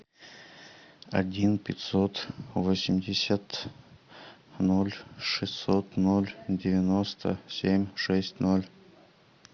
один пятьсот восемьдесят ноль шестьсот ноль девяносто семь шесть ноль